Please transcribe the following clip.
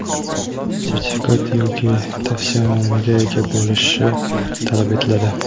sertifikat yoki tavsiyanomaga ega bo‘lishi talab etiladi.